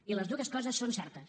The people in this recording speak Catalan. i les dues coses són certes